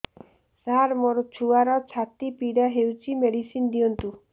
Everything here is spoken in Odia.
ସାର ମୋର ଛୁଆର ଛାତି ପୀଡା ହଉଚି ମେଡିସିନ ଦିଅନ୍ତୁ